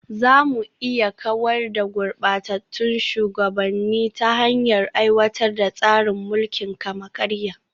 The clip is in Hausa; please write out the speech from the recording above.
Za mu iya kawar da gurbatattun shugabanni ta hanyar aiwatar da tsarin mulkin kama-karya